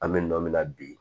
An bɛ nɔ min na bi